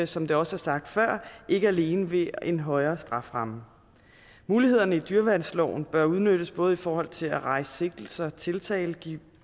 som det også er sagt før ikke alene ved en højere strafferamme mulighederne i dyreværnsloven bør udnyttes både i forhold til at rejse sigtelse og tiltale give